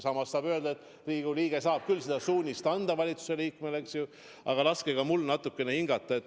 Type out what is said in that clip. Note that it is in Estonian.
Samas saab öelda, et Riigikogu liige saab küll valitsuse liikmele suuniseid anda, eks ju, aga laske mul natukene hingata.